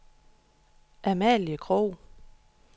Amalie Krogh